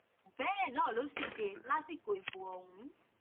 bẹẹ náà ló sì ṣe lásìkò ìbò ọhún